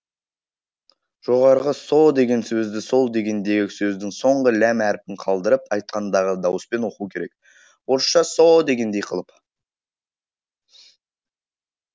жоғарғы со деген сөзді сол дегендегі сөздің соңғы ләм әрпін қалдырып айтқандағы дауыспен оқу керек орысша со дегендей қылып